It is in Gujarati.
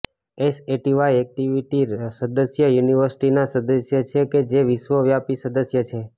એસએટી વાય એક્ટિવિટી સદસ્ય યુનિર્વિસટીના સદસ્ય છે કે જે વિશ્વવ્યાપી સદસ્ય છે